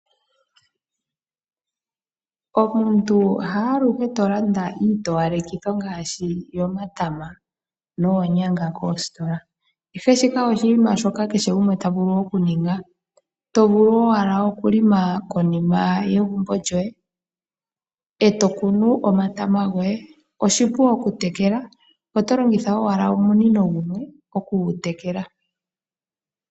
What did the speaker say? Omuntu haaluhe to landa iitowalekithi ngaashi yomatama noonyanga kositola, ihe shike oshinima shoka kehe gumwe ta vulu okuninga. To vulu owala okulima konima yegumbo lyoye, e tokunu omatama goye. Oshipu okutekela, oto longitha owala omunino gumwe okutekela.